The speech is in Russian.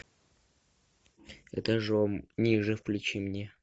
этажом ниже включи мне